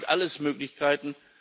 Das sind alles Möglichkeiten.